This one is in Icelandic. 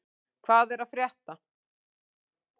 Hvað er rétt?